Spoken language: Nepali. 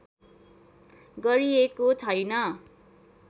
गरिएको छैन